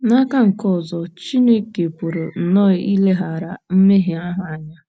N'aka nke ọzọ, um Chineke pụrụ nnọọ ileghara mmehie ahụ anya.